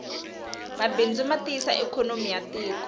mabindzu matiyisa ikonomi yatiko